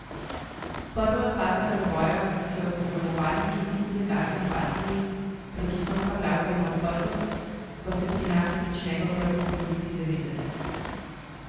Prva faza razvoja, ki so jo zaznamovali tudi ilegalni partiji, predvsem pa glasbena odprtost, pa se pri nas prične v prvi polovici devetdesetih.